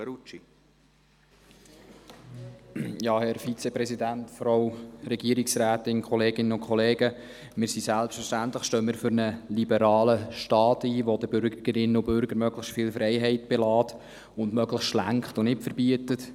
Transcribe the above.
Wir stehen selbstverständlich für einen liberalen Staat ein, der den Bürgerinnen und Bürgern möglichst viel Freiheit lässt und der möglichst lenkt und nicht verbietet.